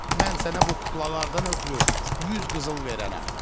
Mən sənə bu kuklalardan ötrü yüz qızıl verərəm.